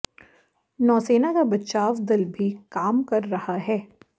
नौसेना का बचाव दल भी काम कर रहा है